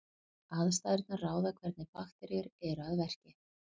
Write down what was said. Aðstæðurnar ráða hvernig bakteríur eru að verki.